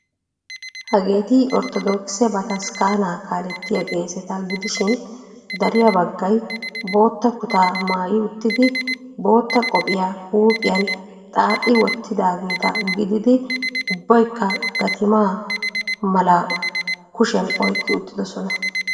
Hageeti orttodookise bataskkaanaa kaalettiya qeeseta gidishin dariya baggay bootta kutaa maayi uttidi bootta qophiya huuphphiyan xaaxi wottidaageeta gididi ubbaykka gatima malaa kushiyan oyqqi uttidosona.